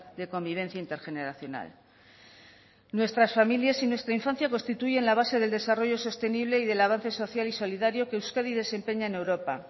de convivencia intergeneracional nuestras familias y nuestra infancia constituyen la base del desarrollo sostenible y del avance social y solidario que euskadi desempeña en europa